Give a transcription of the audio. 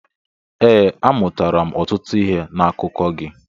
Ee, amụtara ọtụtụ ihe n'akụkọ gị.